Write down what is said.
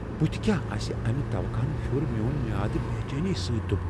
بُتھِہ كیاہ آسہِ امہِ توقع ہن پھِیوٗر میو٘ن میادٕ بیچینی سۭتۍ دُبہٕ ۔